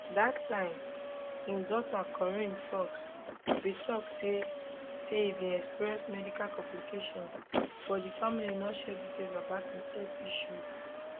dat time im daughter corinne foxx bin tok say say e bin experience medical complication but di family no share details about im health issues